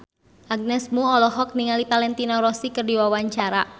Agnes Mo olohok ningali Valentino Rossi keur diwawancara